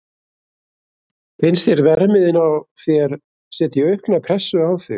Finnst þér að verðmiðinn á þér setji aukna pressu á þig?